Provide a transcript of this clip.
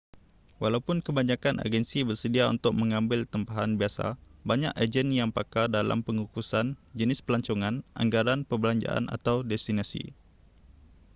walaupun kebanyakan agensi bersedia untuk mengambil tempahan biasa banyak ejen yang pakar dalam pengkhususan jenis pelancongan anggaran perbelanjaan atau destinasi